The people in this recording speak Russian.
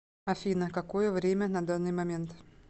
афина какое время на данный момент